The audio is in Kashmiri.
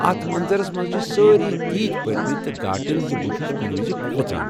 اتھ منظرس منز چھِ سٲرۍ تیٖتۍ پٔرِمٕتۍ ، تہٕ گاٹٕلۍ زِ بہٕ چھُس کُنہِ وِزِ کھوژان۔